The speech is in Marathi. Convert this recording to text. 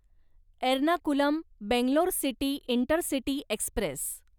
Ernakulam Bangalore city intercity Express